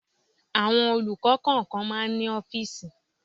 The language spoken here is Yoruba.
Àwọn olùkọ́ kọ̀ọ̀kan máa ń ní ọ́fíísì.